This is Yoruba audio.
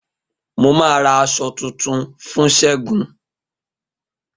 Mo ma ra aṣọ tún fún segun